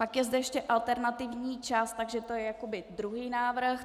Pak je zde ještě alternativní čas, takže to je jakoby druhý návrh.